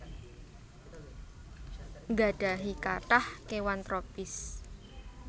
nggadhahi kathah kéwan tropis